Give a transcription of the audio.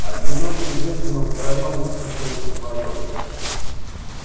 одиноким женщинам втроём лучше чем вдвоём